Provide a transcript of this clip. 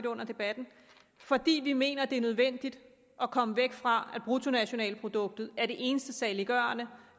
under debatten fordi vi mener det er nødvendigt at komme væk fra at bruttonationalproduktet er det eneste saliggørende